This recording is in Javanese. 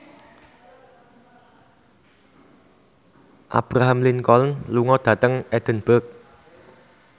Abraham Lincoln lunga dhateng Edinburgh